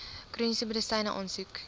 chroniese medisyne aansoek